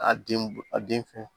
A den a den fɛn